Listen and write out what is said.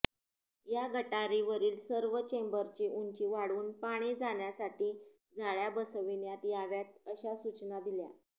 या गटारीवरील सर्व चेंबरची उंची वाढवून पाणी जाण्यासाठी जाळया बसविण्यात याव्यात अशा सूचना दिल्या